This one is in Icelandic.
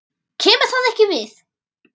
KEMUR ÞAÐ EKKI VIÐ!